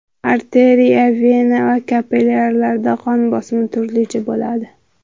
Arteriya, vena va kapillyarlarda qon bosimi turlicha bo‘ladi.